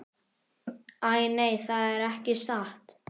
Æ, nei, það er ekki satt.